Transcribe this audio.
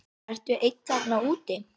Ertu einn þarna úti?